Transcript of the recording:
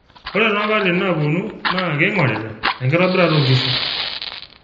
ore too nkatitin naaponu naa keing'orita enkitobirata oo nkishu